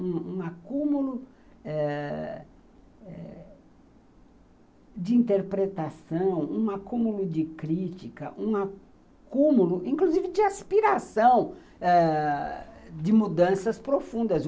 Um um acúmulo ãh de interpretação, um acúmulo de crítica, um acúmulo, inclusive, de aspiração ãh de mudanças profundas.